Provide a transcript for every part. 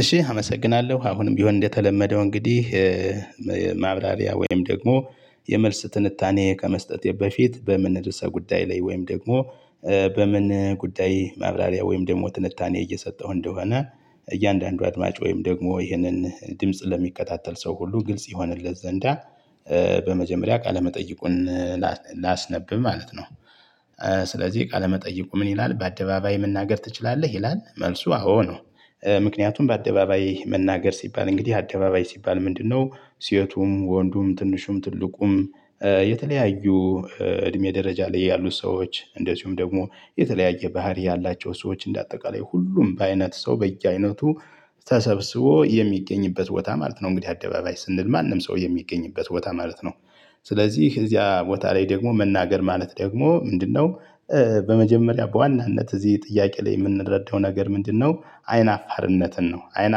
እሺ አመሰግናለሁ አሁንም ቢሆን እንደተለመደው እንግዲህ ማብራሪያ ወይም ደግሞ የመልስ ትንታኔ ከመስጠቴ በፊት በምን ርዕሰ ጉዳይ ላይ ወይም ደግሞ በምን ጉዳይ ማብራሪያ ወይም ደግሞ ትንታኔ እየሰጠሁ እንደሆነ እያንዳንዱ አድማጭ ወይም ደግሞ ይህንን ድምጽ ለሚከታተል ሰው ሁሉ ግልጽ ይሆንለት ዘንዳ በመጀመሪያ ቃለመጠይቁን ላ ላስነብብ ማለት ነው። ስለዚህ ቃለመጠየቁ ምን ይላል በአደባባይ መናገር ትችላለህ? ይላል መልሱ አዎ ነው። ምክንያቱም በአደባባይ መናገር ሲባል እንግዲህ አደባባይ ሲባል ምንድነው? ሴቱም ወንዱም ትንሹም ትልቁም የተለያዩ እድሜ ደረጃ ላይ ያሉ ሰዎች እንደዚሁም ደግሞ የተለያየ ባህሪ ያላቸው ሰዎች እንደ አጠቃላይ ሁሉም በአይነት ሰው በየአይነቱ ተሰብስቦ የሚገኝበት ቦታ ማለት ነው። እንግዲህ አደባባይ ስንል ማንም ሰው የሚገኝበት ቦታ ማለት ነው። ስለዚህ እዚያ ቦታ ላይ ደግሞ መናገር ማለት ደግሞ ምንድነው? በመጀመሪያ በዋናነት እዚህ ጥያቄ ላይ የምንረዳው ነገር ምንድነው አይን አፋርነትን ነው። አይን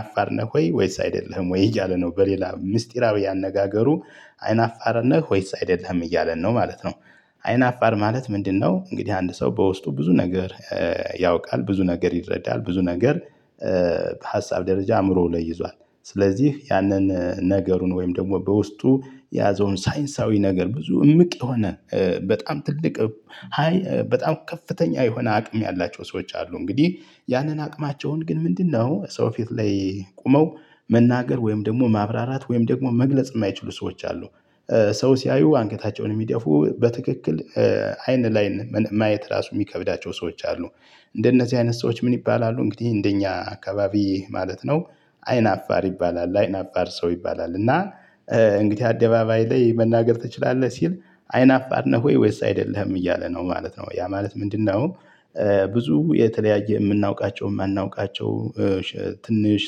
አፋር ነህ ወይስ አይደለህም ወይ እያለ ነው? በሌላ ምስጢራዊ አነጋገሩ አይን አፋር ነህ ወይስ አይደለህም እያለ ነው ማለት ነው። አይን አፋር ማለት ምንድነው? እንግዲህ አንድ ሰው በውስጡ ብዙ ነገር ያውቃል ብዙ ነገር ይረዳል ብዙ ነገር በሀሳብ ደረጃ አእምሮው ላይ ይዟል። ስለዚህ ያንን ነገሩን ወይም ደግሞ በውስጡ የያዘውን ሳይንሳዊ ነገር ብዙ እምቅ የሆነ በጣም ትልቅ ሃይ በጣም ከፍተኛ የሆነ አቅም ያላቸው ሰዎች አሉ እንግዲህ ያንን አቅማቸውን ግን ምንድነው? ሰው ፊት ላይ ቆመው መናገር ወይም ደግሞ ማብራራት ወይም ደግሞ መግለጽ የማይችሉ ሰዎች አሉ። ሰው ሲያዩ አንገታቸውን የሚደፉ በትክክል አይን ለአይን ማየት ራሱ የሚከብዳቸው ሰዎች አሉ። እንደነዚህ አይነት ሰዎች ምን ይባላሉ? እንግዲህ እንደኛ አካባቢ ማለት ነው። አይን አፋር ይባላል አይን አፋር ሰው ይባላል። እና እንግዲህ አደባባይ ላይ መናገር ትችላለህ ሲል አይን አፋር ነህ ወይ ወይስ አይደለህም እያለ ነው ማለት ነው ያ ማለት ምንድነው? ብዙ የተለያየ የምናውቃቸውም ማናውቃቸውም ትንሽ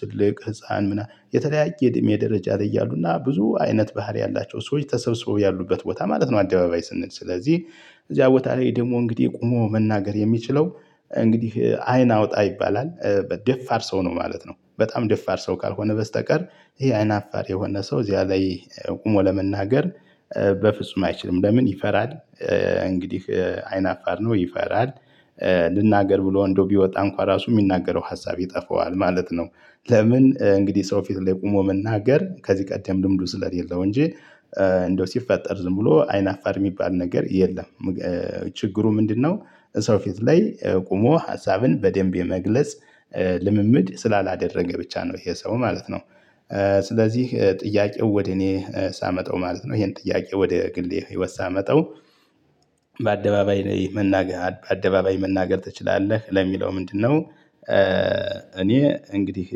ትልቅ ህፃን ምናምን የተለያየ እድሜ ደረጃ ያሉና ብዙ አይነት ባህሪ ያላቸው ሰዎች ተሰብስቦ ያሉበት ቦታ ማለት ነው። አደባባይ ስንል ስለዚህ እዚያ ቦታ ላይ ደግሞ እንግዲህ ቆሞ መናገር የሚችለው እንግዲህ አይን አውጣ ይባላል በደፋር ሰው ነው። ማለት ነው። በጣም ደፋር ሰው ካልሆነ በስተቀር ይሄ አይን አፋር የሆነ ሰው እዚያ ላይ ቆሞ ለመናገር በፍጹም አይችልም። ለምን ይፈራል? እንግዲህ አይናፋር ነው ይፈራል ልናገር ብሎ እንደው ቢወጣ እንኳን ራሱ የሚናገረው ሀሳብ ይጠፋዋል ማለት ነው። ለምን እንግዲህ ሰው ፊት ላይ ቆሞ መናገር ከዚህ ቀደም ልምዱ ስለሌለው እንጂ እንደው ሲፈጠር ዝም ብሎ አይናፋር የሚባል ነገር የለም። ችግሩ ምንድነው? ሰው ፊት ላይ ቆሞ ሀሳብን በደንብ የመግለጽ ልምምድ ስላላደረገ ብቻ ነው። ይሄ ሰው ማለት ነው። ስለዚህ ጥያቄው ወደ እኔ ሳመጣው ማለት ነው ይሄን ጥያቄ ወደ ግሌ ህይወት ሳመጣው። በአደባባይ ላይ መናገር አደባባይ መናገር ትችላለህ ለሚለው ምንድነው? እኔ እንግዲህ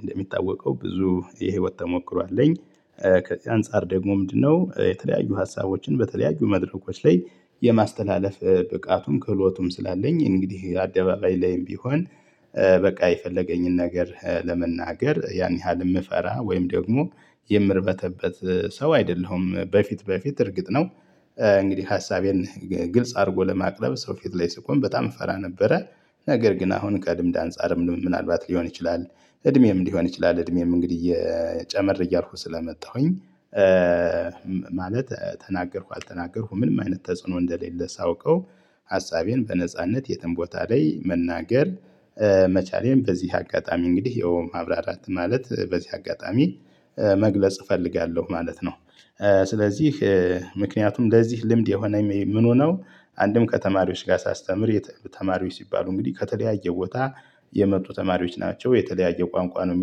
እንደሚታወቀው ብዙ የህይወት ተሞክሮ አለኝ። አንፃር ደግሞ ምንድነው የተለያዩ ሀሳቦችን በተለያዩ መድረኮች ላይ የማስተላለፍ ብቃቱም ክህሎቱም ስላለኝ። እንግዲህ አደባባይ ላይም ቢሆን በቃ የፈለገኝን ነገር ለመናገር ያን ያህል የምፈራ ወይም ደግሞ የምርበተበት ሰው አይደለሁም። በፊት በፊት እርግጥ ነው። እንግዲህ ሀሳቤን ግልጽ አድርጎ ለማቅረብ ሰው ፊት ላይ ስቆም በጣም እፈራ ነበረ። ነገር ግን አሁን ከልምድ አንፃርም ምናልባት ሊሆን ይችላል። እድሜም ሊሆን ይችላል እድሜም እንግዲህ እየ ጨመር እያልኩ ስለመጣሁኝ። ማለት ተናገርኩ አልተናገርኩ ምንም አይነት ተጽዕኖ እንደሌለ ሳውቀው። ሀሳቤን በነጻነት የትም ቦታ ላይ መናገር። መቻሌን በዚህ አጋጣሚ እንግዲህ የው ማብራራት ማለት በዚህ አጋጣሚ መግለጽ እፈልጋለሁ ማለት ነው። ስለዚህ ምክንያቱም ለዚህ ልምድ የሆነኝ ምኑነው? አንድም ከተማሪዎች ጋር ሳስተምር ተማሪዎች ሲባሉ እንግዲህ ከተለያየ ቦታ የመጡ ተማሪዎች ናቸው። የተለያየ ቋንቋ ነው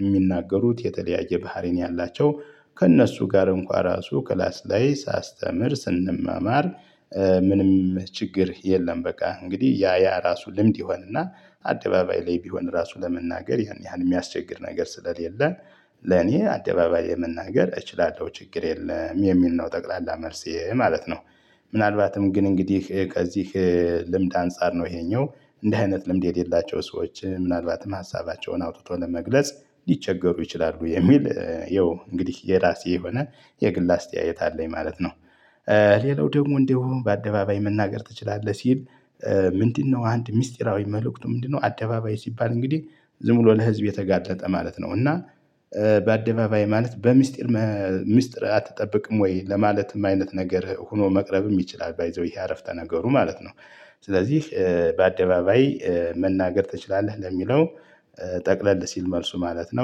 የሚናገሩት የተለያየ ባህሪ ነው ያላቸው ከእነሱ ጋር እንኳን ራሱ ክላስ ላይ ሳስተምር ስንማማር። ምንም ችግር የለም። በቃ እንግዲህ ያ ያ ራሱ ልምድ ይሆንና አደባባይ ላይ ቢሆን ራሱ ለመናገር ያን ያህል የሚያስቸግር ነገር ስለሌለ። ለኔ አደባባይ የመናገር እችላለሁ ችግር የለም የሚል ነው ጠቅላላ መልሴ ማለት ነው። ምናልባትም ግን እንግዲህ ከዚህ ልምድ አንፃር ነው ይሄኛው እንደ አይነት ልምድ የሌላቸው ሰዎች ምናልባትም ሀሳባቸውን አውጥተው ለመግለጽ ሊቸገሩ ይችላሉ። የሚል ይኸው እንግዲህ የራሴ የሆነ የግል አስተያየት አለኝ ማለት ነው። ሌላው ደግሞ እንደው በአደባባይ መናገር ትችላለህ ሲል። ምንድነው አንድ ሚስጢራዊ መልእክቱ ምንድነው? አደባባይ ሲባል እንግዲህ ዝም ብሎ ለህዝብ የተጋለጠ ማለት ነው። እና በአደባባይ ማለት በሚስጥር ሚስጥር አትጠብቅም ወይ ለማለትም አይነት ነገር ሆኖ መቅረብም ይችላል። ባይ ዘ ዌይ ይሄ አረፍተ ነገሩ ማለት ነው። ስለዚህ በአደባባይ መናገር ትችላለህ ለሚለው ጠቅለል ሲል መልሱ ማለት ነው